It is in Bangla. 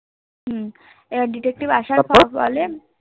হম এবার Detective আসার আসার পর এ